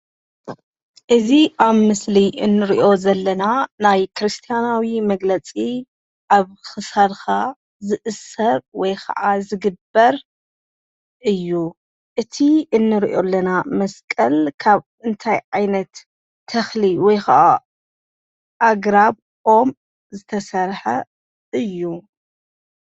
እዚ አብ ምስሊ እንሪኦ ዘለና ናይ ክርስታንያዊ መግለፂ አብ ክሳድካ ዝእሰር ወይ ከዓ ዝግበር እዩ፡፡ እቲ እነሪኦ ዘለና መስቀል ካብ እንታይ ዓይነት ተኽሊ ወይ ከዓ ኣግራብ ኦም ዝተሰርሐ እዩ?